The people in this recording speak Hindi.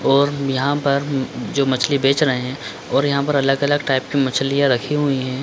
और हम यहाँ पर जो मछली बेच रहे है और यहाँ पर अलग-अलग टाइप की मछलियाँ रखी हुई है।